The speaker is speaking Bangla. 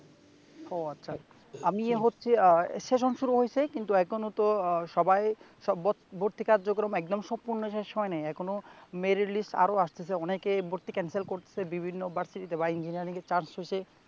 ও আচ্ছা আমি হচ্ছে আহ সেশন শুরু হইসে কিন্তু এখনতো সবাই সব ভর্তি কার্যক্রম একদম সম্পূর্ণ শেষ হয় নাই। এখনো মেরিট লিস্ট আরো আসতেছে অনেকে ভর্তি ক্যানসেল করতেছে বিভিন্ন ভার্সিটিতে বা ইনজিনিয়ারিংয়ে চান্স পাইছে